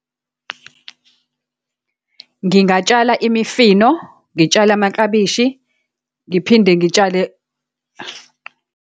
Ngingatshala imifino, ngitshale amaklabishi, ngiphinde ngitshale.